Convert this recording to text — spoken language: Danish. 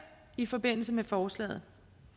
i forbindelse med forslaget